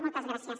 moltes gràcies